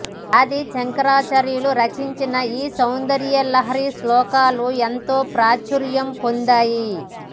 ఆది శంకరాచార్యులు రచించిన ఈ సౌందర్యలహరి శ్లోకాలు ఎంతో ప్రాచుర్యం పొందాయి